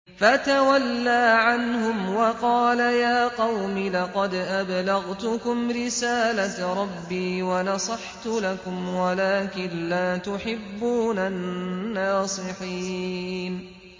فَتَوَلَّىٰ عَنْهُمْ وَقَالَ يَا قَوْمِ لَقَدْ أَبْلَغْتُكُمْ رِسَالَةَ رَبِّي وَنَصَحْتُ لَكُمْ وَلَٰكِن لَّا تُحِبُّونَ النَّاصِحِينَ